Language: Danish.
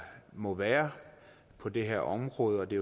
må være på det her område og det